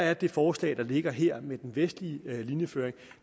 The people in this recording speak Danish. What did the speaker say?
er det forslag der ligger her med den vestlige linjeføring